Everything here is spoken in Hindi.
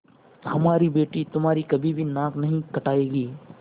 हमारी बेटी तुम्हारी कभी भी नाक नहीं कटायेगी